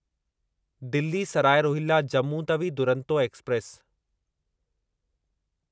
Delhi Sarai Rohilla Jammu Tawi Duronto express